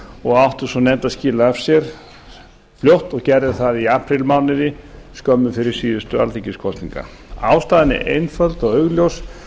og átti sú nefnd að skila af sér fljótt og gerði það aprílmánuði skömmu fyrir síðustu alþingiskosningar ástæðan er einföld og augljós